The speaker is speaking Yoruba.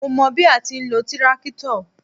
Mó mọ bí a ti ń lo tíráktọ̀.